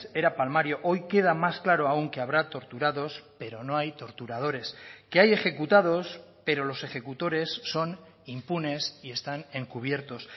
era palmario hoy queda más claro aún que habrá torturados pero no hay torturadores que hay ejecutados pero los ejecutores son impunes y están encubiertos